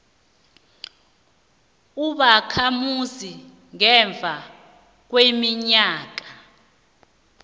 ubakhamuzi ngemva kweminyaka